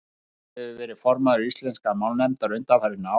guðrún hefur verið formaður íslenskrar málnefndar undanfarin ár